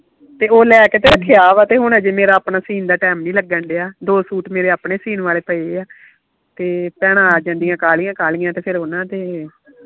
ਤੇ ਉਹ ਲੈਕੇ ਤੇ ਰੱਖਿਆ ਤੇ ਹਜੇ ਮੇਰਾ ਆਪਣਾ ਸੀਨ ਦਾ ਟਾਈਮ ਨਹੀਂ ਲੱਗਣ ਦੇਆ ਦੋ ਸੂਟ ਮੇਰੇ ਆਪਣੇ ਸੀਨ ਵਾਲੇ ਪਏ ਆ ਤੇ ਭੈਣਾਂ ਆ ਜਾਂਦੀਆਂ ਕਾਹਲੀਆਂ ਕਾਹਲੀਆਂ ਤੇ ਫੇਰ ਓਹਨਾ ਦੇ